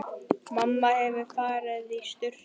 Mamma hefur farið í sturtu.